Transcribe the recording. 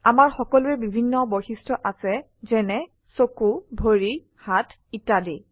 আমাৰ সকলোৰে বিভিন্ন বৈশিষ্ট্য আছে যেনে চকো ভৰি হাত ইত্যাদি